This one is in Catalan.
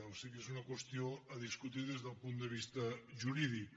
o sigui és una qüestió a discutir des del punt de vista jurídic